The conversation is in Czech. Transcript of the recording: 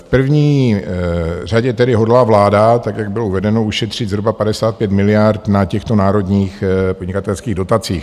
V první řadě tedy hodlá vláda, tak jak bylo uvedeno, ušetřit zhruba 55 miliard na těchto národních podnikatelských dotacích.